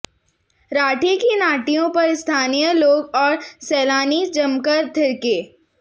राठी की नाटियों पर स्थानीय लोग और सैलानी जमकर थिरके